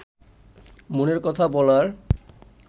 মনের কথা বলার